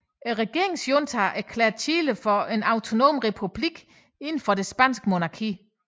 Regeringsjuntaen erklærede Chile for en autonom republik inden for det spanske monarki